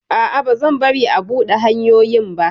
A'a, bazan bari a buɗe hanyoyin ba!